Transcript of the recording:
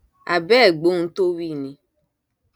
a bẹ ẹ gbóhun tó wí ni